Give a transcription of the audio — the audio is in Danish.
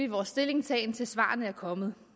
vores stillingtagen til svarene er kommet